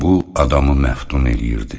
Bu adamı məftun eləyirdi.